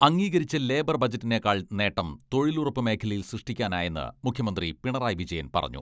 അംഗീകരിച്ച ലേബർ ബജറ്റിനേക്കാൾ നേട്ടം തൊഴിലുറപ്പ് മേഖലയിൽ സൃഷ്ടിക്കാനായെന്ന് മുഖ്യമന്ത്രി പിണറായി വിജയൻ പറഞ്ഞു.